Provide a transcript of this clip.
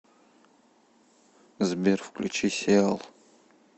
сбер включи сиал